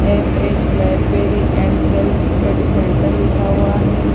MS. Library and self service centre लिखा हुआ है ।